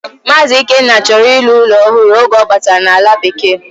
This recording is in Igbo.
Mazi Ikenna choro ilu ulo ohuru oge obatara na ala bekee.